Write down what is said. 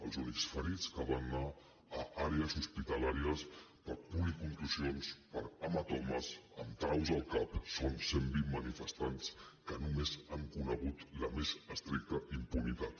els únics ferits que van anar a àrees hospitalàries per policontusions per hematomes amb traus al cap són cent vint manifestants que només han conegut la més estricta impunitat